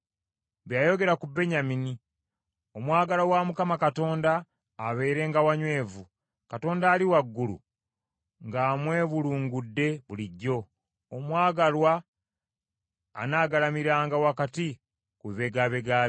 Bye yayogera ku Benyamini: “Omwagalwa wa Mukama Katonda abeerenga wanywevu, Katonda Ali Waggulu ng’amwebulungudde bulijjo, omwagalwa anaagalamiranga wakati ku bibegabega bye.”